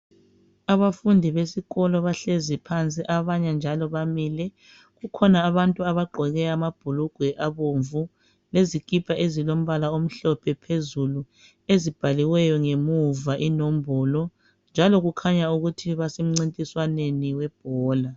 Abafundi besikolo bahlezi phansi abanye njalo bamile kukhona abantu abagqoke amabhulugwe abomvu lezikipa ezilombala omhlophe phezulu ezibhaliweyo ngemuva inombolo, njalo kukhanya ukuthi basemcintiswaneni webhola.